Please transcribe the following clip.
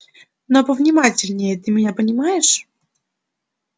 но повнимательнее ты меня понимаешь